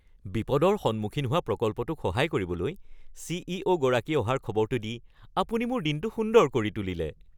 বিপদৰ সন্মুখীন হোৱা প্ৰকল্পটোক সহায় কৰিবলৈ চি.ই.অ’. গৰাকী অহাৰ খবৰটো দি আপুনি মোৰ দিনটো সুন্দৰ কৰি তুলিলে!